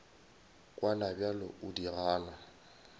kwana bjale o di gana